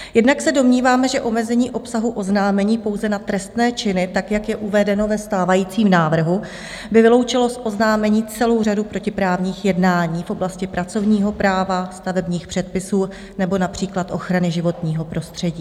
Jednak se domníváme, že omezení obsahu oznámení pouze na trestné činy, tak, jak je uvedeno ve stávajícím návrhu, by vyloučilo z oznámení celou řadu protiprávních jednání v oblasti pracovního práva, stavebních předpisů nebo například ochrany životního prostředí.